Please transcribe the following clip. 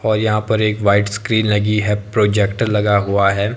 और यहां पर एक व्हाइट स्क्रीन लगी है प्रोजेक्टर लगा हुआ है।